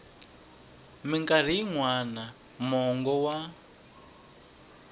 mikarhi yin wana mongo wa